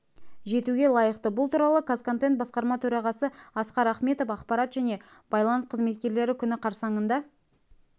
жетуге лайықты бұл туралы қазконтент басқарма төрағасы асқар ахметов ақпарат және байланыс қызметкерлері күні қарсаңында